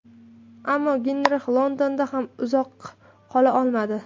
Ammo Genrix Londonda ham uzoq qola olmadi.